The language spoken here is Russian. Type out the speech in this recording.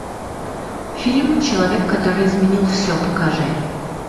фильм человек который изменил все покажи